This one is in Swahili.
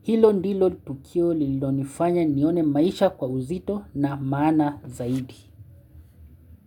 Hilo ndilo tukio lilo nifanya nione maisha kwa uzito na maana zaidi.